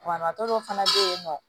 Banabagatɔ dɔ fana bɛ yen nɔ